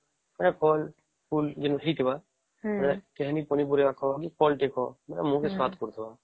ଏଟା ଫଳ ଫୁଲ ଜେନା ହେଇଥିବା ଖାଲି ପନି ପରିବା ନୁହେ ଯେନ ଫଳ ଟେ ଖାଓ ମୁହଁ କୁ ସ୍ୱାଦ ଟେ କରୁଥିବା